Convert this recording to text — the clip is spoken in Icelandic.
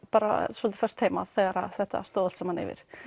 bara svolítið föst heima þegar þetta stóð allt saman yfir